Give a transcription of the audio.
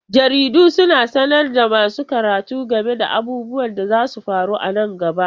Jaridu suna sanar da masu karatu game da abubuwan da zasu faru nan gaba.